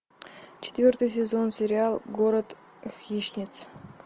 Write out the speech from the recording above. четвертый сезон сериал город хищниц